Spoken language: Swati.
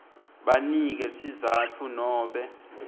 banike sizatfu nobe